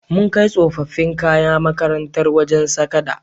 Mun kai tsofaffin kayan makarantar wajen sadaka.